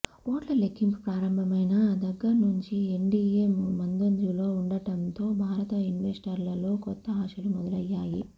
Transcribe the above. ఓట్ల లెక్కింపు ప్రారంభమైన దగ్గర్నుంచి ఎన్డీయే ముందంజలో ఉండడంతో భారత ఇన్వెస్టర్లలో కొత్త ఆశలు మొదలయ్యాయి